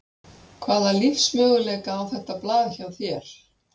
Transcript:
Hvaða lífsmöguleika á þetta blað hjá þér?